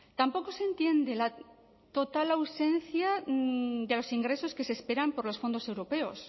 tampoco se entiende la total ausencia de los ingresos que se esperan por los fondos europeos